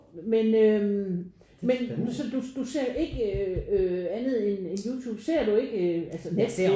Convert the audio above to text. Men øh men så du du ser jo ikke øh andet end Youtube? Ser du ikke altså Netflix?